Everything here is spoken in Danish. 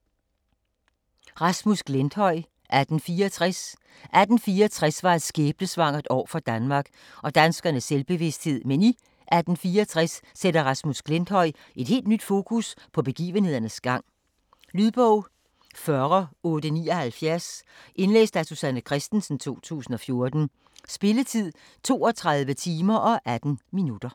Glenthøj, Rasmus: 1864 1864 var et skæbnesvangert år for Danmark og danskernes selvbevidsthed, men i “1864″ sætter Rasmus Glenthøj et helt nyt fokus på begivenhedernes gang. Lydbog 40879 Indlæst af Susanne Kristensen, 2014. Spilletid: 32 timer, 18 minutter.